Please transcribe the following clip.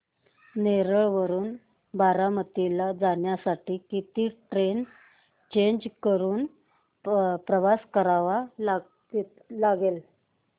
नेरळ वरून बारामती ला जाण्यासाठी किती ट्रेन्स चेंज करून प्रवास करावा लागेल